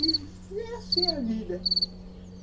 E era assim a vida.